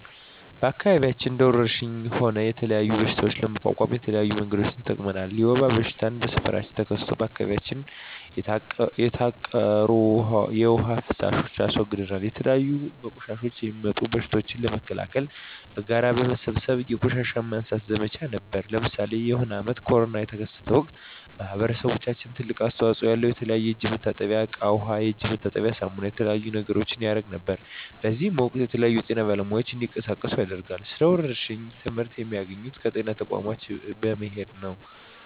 በአከባቢያችን እንደ ወረርሽኝ ሆነ የተለያዩ በሽታዎች ለመቋቋም የተለያዩ መንገዶችን ተጠቅመናል የወባ በሽታ በሠፈራችን ተከስቶ በአካባቢያችን የተቃሩ የዉሃ ፋሳሽ አስወግደናል የተለያዩ በቆሻሻ የሚጡም በሽቶችን ለመከላከል በጋራ በመሠብሰብ የቆሻሻ ማንሳት ዘመቻ ነበረነ ለምሳሌ የሆነ አመት ኮርና የተከሰተ ወቅት ማህበረሰባችን ትልቅ አስተዋጽኦ አለው የተለያዩ የእጅ መታጠብያ እቃ ዉሃ የእጅ መታጠቢያ ሳሙና የተለያዩ ነገሮችን ያረግ ነበር በእዚህም ወቅትም የተለያዩ የጤና ባለሙያዎች እንዲቀሳቀሱ ያደርጋል ስለ ወረርሽኝ ትመህርት የሚያገኘው ከጤና ተቋሞች በመሄድ ነው